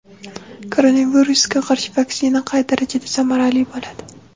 Koronavirusga qarshi vaksina qay darajada samarali bo‘ladi?.